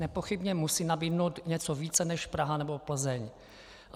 Nepochybně musí nabídnout něco více než Praha nebo Plzeň.